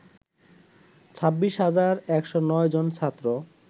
২৬ হাজার ১০৯ জন ছাত্র